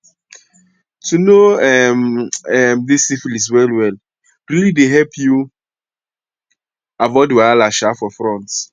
to know um um this syphilis well well realy the help you avoid wahala um for front